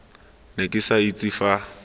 ne ke sa itse fa